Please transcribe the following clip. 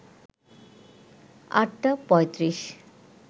৮টা ৩৫